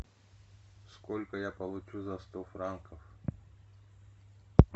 сколько я получу за сто франков